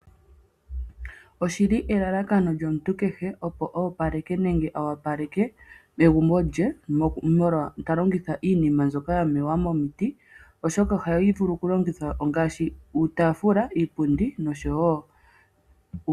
Oshili elalakano lyomuntu kehe opo a wapaleke egumbo lye, ta longitha iinima mbyoka ya mewa momiti, oshoka ohayi vulu oku longithwa, ongaashi, uutaafula, iipundi nosho tuu.